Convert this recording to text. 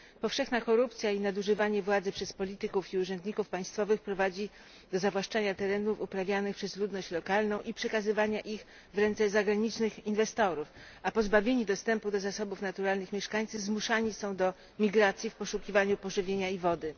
Powszechna korupcja i nadużywanie władzy przez polityków i urzędników państwowych prowadzi do zawłaszczania terenów uprawianych przez ludność lokalną i przekazywania ich w ręce zagranicznych inwestorów, a pozbawieni dostępu do zasobów naturalnych mieszkańcy zmuszani są do migracji w poszukiwaniu pożywienia i wody.